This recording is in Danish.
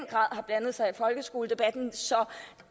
har blandet sig i folkeskoledebatten